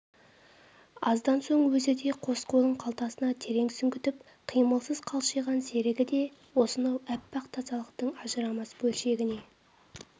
аздан соң өзі де қос қолын қалтасына терең сүңгітіп қимылсыз қалшиған серігі де осынау аппақ тазалықтың ажырамас бөлшегіне